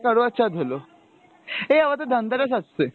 কারবা চৌত হলো, এই আমাদের ধনতেরাস আসছে।